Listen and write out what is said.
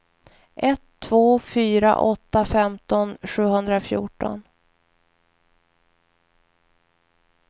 ett två fyra åtta femton sjuhundrafjorton